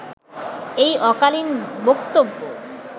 এই অকালীন বক্তব্য